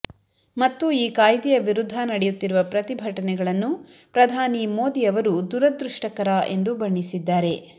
ಮತ್ತು ಈ ಕಾಯ್ದೆಯ ವಿರುದ್ಧ ನಡೆಯುತ್ತಿರುವ ಪ್ರತಿಭಟನೆಗಳನ್ನು ಪ್ರಧಾನಿ ಮೋದಿ ಅವರು ದುರದೃಷ್ಟಕರ ಎಂದು ಬಣ್ಣಿಸಿದ್ದಾರೆ